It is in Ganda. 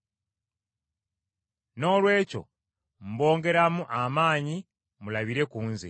Noolwekyo mbongeramu amaanyi mulabire ku nze.